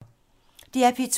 DR P2